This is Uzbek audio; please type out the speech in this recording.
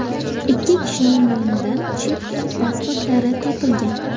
Ikki kishining yonidan chet el pasportlari topilgan.